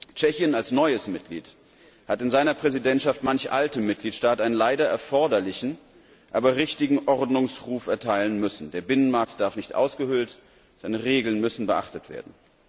Tschechien als neues Mitglied hat in seiner Präsidentschaft manch altem Mitgliedstaat einen leider erforderlichen, aber richtigen Ordnungsruf erteilen müssen Der Binnenmarkt darf nicht ausgehöhlt und Regeln müssen beachtet werden.